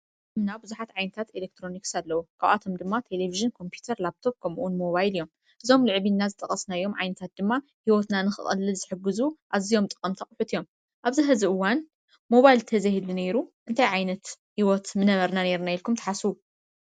ቡዝሓት ዓይነታት ኢሌክትሮኒክስ ኣለዉ። ካባቶም ድማ ቴሊቭዥን፣ ኮምፒተር፣ ላብቶፕ፣ ሞባይል እዩም። እዞም ልዕል ኢልና ዝገለጽናዮም ዓይነታት ድማ ሂወትና ንክቀልል ዝሕጉዙ ኣዝዮም ጠቀምቲ ኣቁሑ እዮም ።ኣብዚ ሒዚ እዋን ሞባይል ተዘይህሉ ነይሩ እንታይ ዓይነት ሂወት ምነበርና ነየርና ኢልኩም ትሓስቡ?